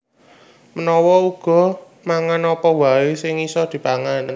Menawa uga mangan apa waè sing bisa dipangan